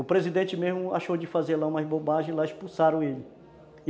O presidente mesmo achou de fazer lá umas bobagens e lá expulsaram ele.